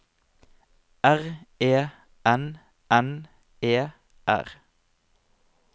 R E N N E R